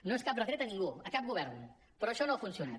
no és cap retret a ningú a cap govern però això no ha funcionat